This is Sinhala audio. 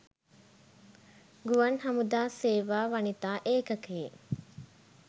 ගුවන් හමුදා සේවා වනිතා ඒකකයේ